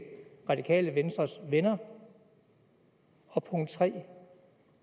radikale venstres venner og punkt 3